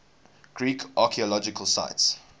greek archaeological sites